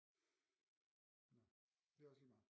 Det er også lige meget